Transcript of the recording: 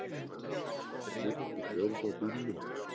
Missti stjórn á bílnum